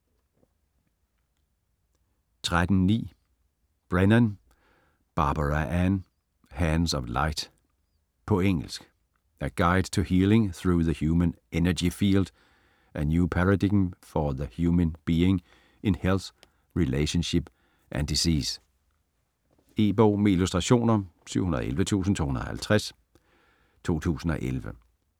13.9 Brennan, Barbara Ann: Hands of light På engelsk. A guide to healing through the human energy field: a new paradigm for the human being in health, relationship, and disease. E-bog med illustrationer 711250 2011.